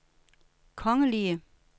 kongelige